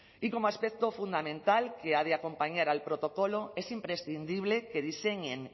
y como aspecto fundamental que ha de acompañar al protocolo es imprescindible que diseñen